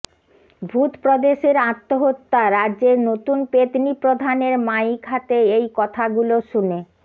ভূত প্রদেশের আত্মহত্যা রাজ্যের নতুন পেতনি প্রধানের মাইক হাতে এই কথাগুলো শুনে